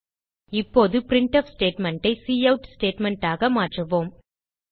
இப்போது printf statement ஐ cout statementஆக மாற்றுவோம்